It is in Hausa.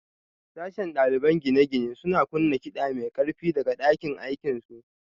Sashen ɗaliban gine-gine suna kunna kiɗa mai ƙarfi daga ɗakin aikinsu